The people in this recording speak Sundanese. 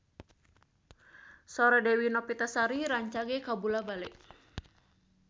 Sora Dewi Novitasari rancage kabula-bale